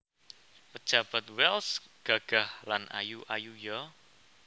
Pejabat Wells gagah lan ayu ayu yo